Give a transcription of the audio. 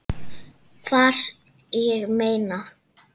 Hvar, ég meina.